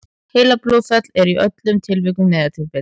heilablóðfall er í öllum tilvikum neyðartilvik